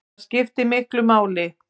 Það skiptir miklu máli